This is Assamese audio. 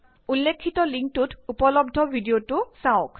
উল্লেখিত লিংকটোত উপলবদ্ধ ভিডিঅটো চাওঁক